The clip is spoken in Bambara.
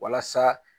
Walasa